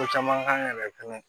Ko caman k'an yɛrɛ fɛnɛ